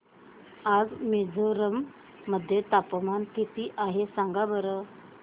आज मिझोरम मध्ये तापमान किती आहे सांगा बरं